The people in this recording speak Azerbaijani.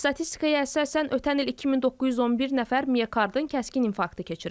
Statistikaya əsasən ötən il 2911 nəfər miokardın kəskin infarktını keçirib.